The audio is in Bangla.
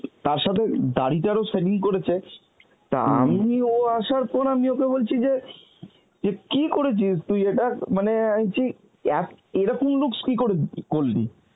তার সাথে দাড়িটারও shaving করেছে তা আমি ও আসার পর আমি ওকে বলছি যে, যে কী করেছিস তুই এটা? মানে আমি বলছি এক~ এরকম looks কী করে করলি?